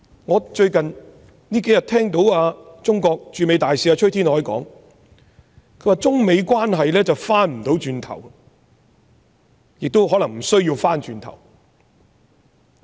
我最近聽到中國駐美大使崔天凱說中美關係回不去了，亦可能沒必要回去。